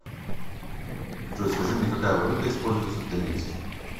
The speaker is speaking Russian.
джой скажи мне какая валюта используется в донецке